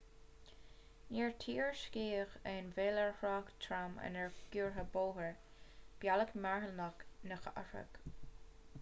níor tuairiscíodh aon mhoill ar thrácht trom ar an gcuarbhóthar bealach malartach na cathrach